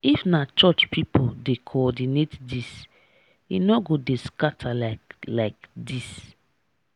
if na church people dey coordinate this e no go dey scatter like like this.